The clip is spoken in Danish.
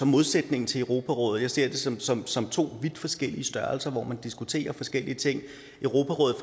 modsætning til europarådet jeg ser dem som som to vidt forskellige størrelser hvor man diskuterer forskellige ting europarådet